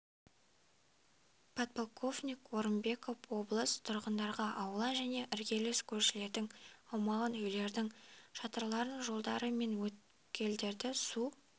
подполковник орынбеков облыс тұрғындарға аула және іргелес көшелердің аумағын үйлердің шатырларын жолдары мен өткелдерді су